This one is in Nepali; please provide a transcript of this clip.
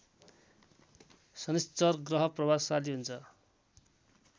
शनिश्चर ग्रह प्रभावशाली हुन्छ